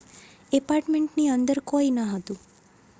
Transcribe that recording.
ઍપાર્ટમેન્ટની અંદર કોઈ ન હતું